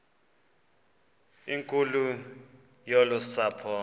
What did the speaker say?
nkulu yolu sapho